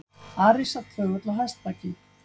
Ari sat þögull á hestbaki.